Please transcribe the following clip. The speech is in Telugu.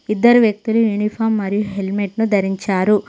ఇద్దరు వ్యక్తులు యూనిఫామ్ మరియు హెల్మెట్ ను ధరించారు.